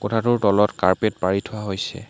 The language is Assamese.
কোঠাটোৰ তলত কাৰ্পেট পাৰি থোৱা হৈছে।